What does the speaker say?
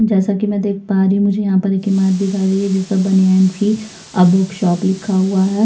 जैसा की में देख पा रही हूँ मुझे यहाँ पर एक इमारत दिखाई दे रही है जिसमें बने है ट्री और बुक शॉप लिखा हुआ है।